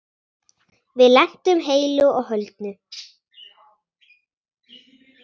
Við lentum heilu og höldnu.